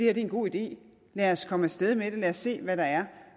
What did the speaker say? er en god idé lad os komme af sted med det og se hvad der